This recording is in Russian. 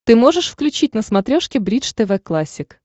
ты можешь включить на смотрешке бридж тв классик